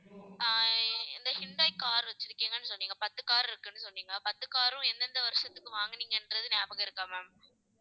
ஆஹ் இந்த Hyundai car வச்சிருக்கீங்கன்னு சொன்னீங்க பத்து car இருக்குன்னு சொன்னீங்க பத்து car உம் எந்தெந்த வருஷத்துக்கு வாங்கினீங்கன்றது ஞாபகம் இருக்கா ma'am